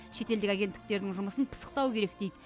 шетелдік агенттіктердің жұмысын пысықтау керек дейді